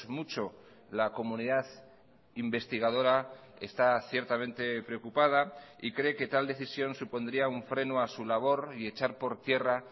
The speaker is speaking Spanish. mucho la comunidad investigadora está ciertamente preocupada y cree que tal decisión supondría un freno a su labor y echar por tierra